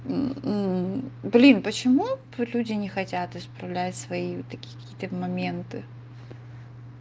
блин почему люди не хотят исправлять свои вот такие какие-то моменты